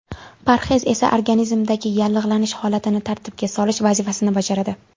Parhez esa organizmdagi yallig‘lanish holatini tartibga solish vazifasini bajaradi.